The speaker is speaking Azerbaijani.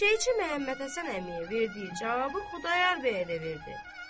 Eşşəkçi Məhəmmədhəsən əmiyə verdiyi cavabı Xudayar bəyə də verdi.